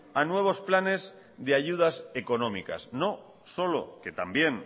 a nuevos planes de ayudas económicas no solo que también